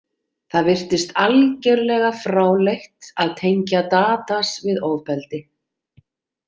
Það virtist algerlega fráleitt að tengja Tadas við ofbeldi.